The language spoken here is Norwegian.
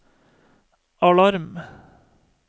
alarm